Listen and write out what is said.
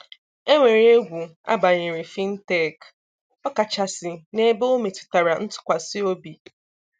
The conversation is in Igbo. Enwere egwu a banyere Fintech, ọ kachasị n'ebe ọ metụtara ntụkwasị obi.